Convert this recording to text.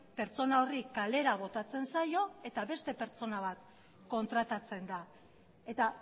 pertsona horri kalera botatzen zaio eta beste pertsona bat kontratatzen da eta